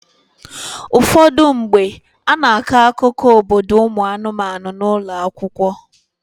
Ụfọdụ mgbe, a na-akọ akụkọ obodo ụmụ anụmanụ n'ụlọ akwụkwọ.